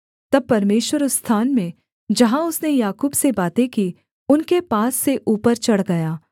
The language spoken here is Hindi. तब परमेश्वर उस स्थान में जहाँ उसने याकूब से बातें की उनके पास से ऊपर चढ़ गया